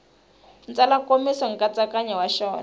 tsala nkomiso nkatsakanyo wa xona